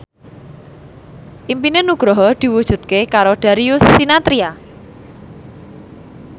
impine Nugroho diwujudke karo Darius Sinathrya